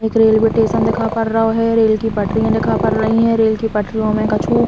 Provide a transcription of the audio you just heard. एक railway station दिखा पड़ रहो हे। रेल की पटरी दिखा पड़ रही है। रेल की पटरियों में कछु --